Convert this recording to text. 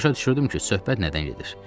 Başa düşürdüm ki, söhbət nədən gedir.